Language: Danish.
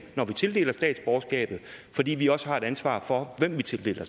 når vi tildeler statsborgerskabet fordi vi også har et ansvar for hvem vi tildeler